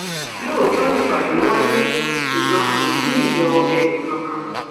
lóòótọ nìpàdé wáyé ṣùgbọn a kò tí ì yọ ẹnìkankan